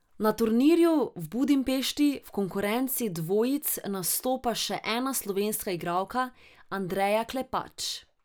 Na turnirju v Budimpešti v konkurenci dvojic nastopa še ena slovenska igralka, Andreja Klepač.